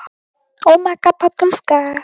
Og kannski var hún hjá